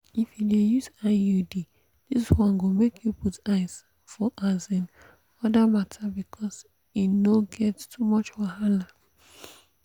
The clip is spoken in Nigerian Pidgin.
if you dey use iud this one go make you put eyes for um other matter because e no get too much wahala.